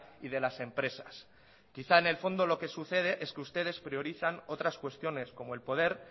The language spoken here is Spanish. y de las empresas quizá en el fondo lo que sucede es que ustedes priorizan otras cuestiones como el poder